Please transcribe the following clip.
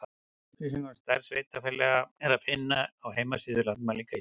Upplýsingar um stærð sveitarfélaga er að finna á heimasíðu Landmælinga Íslands.